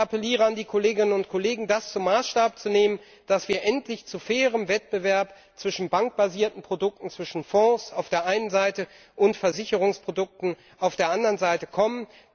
Ich appelliere an die Kolleginnen und Kollegen, das zum Maßstab zu nehmen, dass wir endlich zu fairem Wettbewerb zwischen bankbasierten Produkten, zwischen Fonds auf der einen Seite und Versicherungsprodukten auf der anderen Seite kommen.